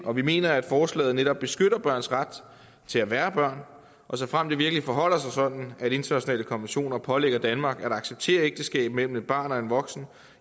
og vi mener at forslaget netop beskytter børns ret til at være børn og såfremt det virkelig forholder sig sådan at internationale konventioner pålægger danmark at acceptere ægteskab mellem et barn og en voksen